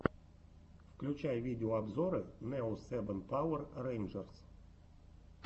включай видеообзоры нео сэбэн пауэр рэйнджерс